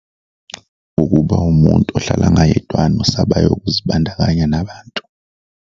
Ukuba umuntu ohlala ngayedwana osabayo ukuzibandakanya nabantu.